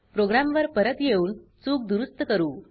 programme वर परत येऊन चुक दुरुस्त करू